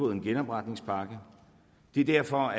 en genopretningspakke det er derfor